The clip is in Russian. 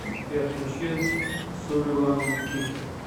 сбер включи суливан кинг